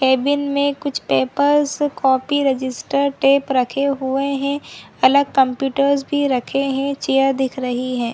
Cabin में कुछ papers copy registered tape रखे हुए है अलग कम्प्यूटर्स भी रखे है चेयर दिख रही हैं ।